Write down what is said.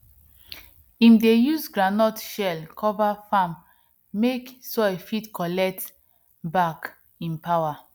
im dey use groundnut shell cover farm mek soil fit collect back im power